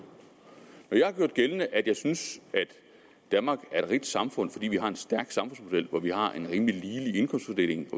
når jeg har gjort gældende at jeg synes at danmark er et rigt samfund fordi vi har en stærk samfundsmodel hvor vi har en rimelig lige indkomstfordeling